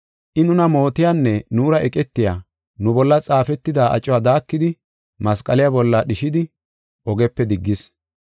I nuna mootiyanne nuura eqetiya, nu bolla xaafetida acuwa daakidi masqaliya bolla dhishidi ogepe diggis.